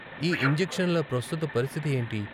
ఈ ఇంజెక్షన్ల ప్రస్తుత పరిస్థితి ఏంటి?